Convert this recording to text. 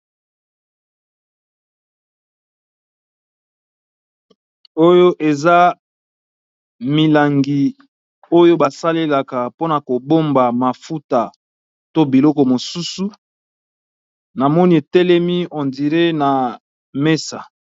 Oyo eza milangi oyo ba salelaka mpona ko bomba mafuta to biloko mosusu, namoni etelemi on diré na mesa.